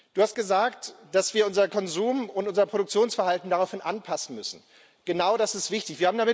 Du hast gesagt, dass wir unser Konsum und unser Produktionsverhalten daraufhin anpassen müssen. Genau das ist wichtig.